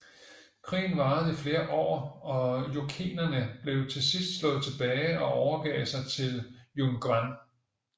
Krigen varede i flere år og jurchenerne blev til sidst slået tilbage og overgav sig til Yun Gwan